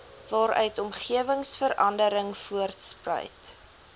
waaruit omgewingsverandering voortspruit